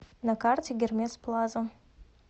на карте гермес плаза